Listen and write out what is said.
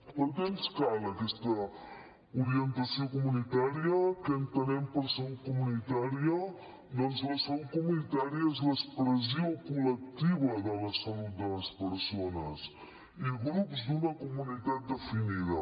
per què ens cal aquesta orientació comunitària què entenem per salut comunitària doncs la salut comunitària és l’expressió col·lectiva de la salut de les persones i grups d’una comunitat definida